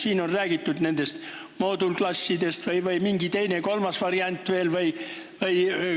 Siin on räägitud moodulklassidest, aga kas on mingi teine või kolmas variant veel?